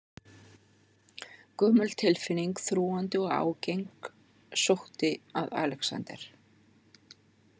Gömul tilfinning, þrúgandi og ágeng sótti að Alexander.